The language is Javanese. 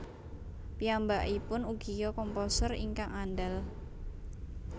Piyambakipun ugia komposer ingkang andal